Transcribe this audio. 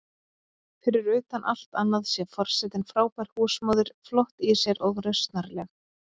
Fyrir utan allt annað sé forsetinn frábær húsmóðir, flott í sér og rausnarleg.